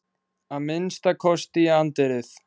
Að minnsta kosti í anddyrið.